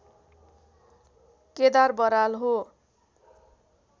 केदार बराल हो